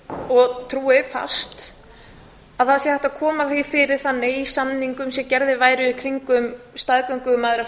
og trúi fast að það sé hægt að koma fyrir þannig í samningum sem gerðir væru í kringum